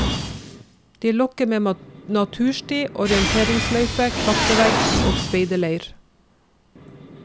De lokker med natursti, orienteringsløype, klatrevegg og speiderleir.